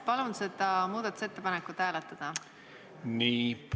Palun seda muudatusettepanekut hääletada!